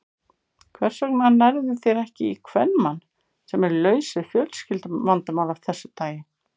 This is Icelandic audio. Hvers vegna nærðu þér ekki í kvenmann, sem er laus við fjölskylduvandamál af þessu tagi?